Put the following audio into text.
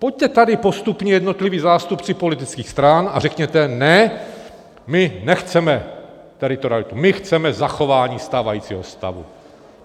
Pojďte tady postupně jednotlivá zástupci politických stran a řekněte - ne, my nechceme teritorialitu, my chceme zachování stávajícího stavu.